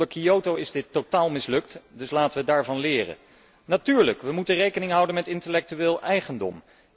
Onder Kyoto is dit totaal mislukt, dus laten we daarvan leren. Natuurlijk moeten we rekening houden met intellectuele eigendom.